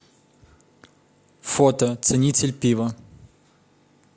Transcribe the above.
фото ценитель пива